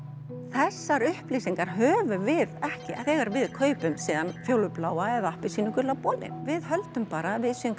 þessar upplýsingar höfum við ekki þegar við kaupum fjólubláa eða appelsínugula bolinn við höldum bara að við séum